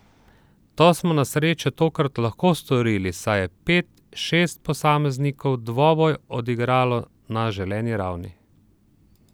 To smo na srečo tokrat lahko storili, saj je pet, šest posameznikov dvoboj odigralo na želeni ravni.